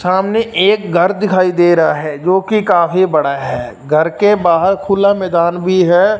सामने एक घर दिखाई दे रहा है जो की काफी बड़ा है घर के बाहर खुला मैदान भी है।